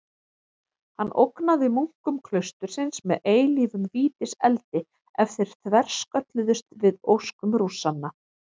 Hann ógnaði munkum klaustursins með eilífum vítiseldi ef þeir þverskölluðust við óskum Rússanna.